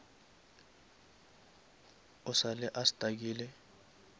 o sa le a stuckile